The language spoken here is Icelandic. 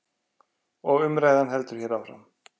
Og umræðan heldur hér áfram.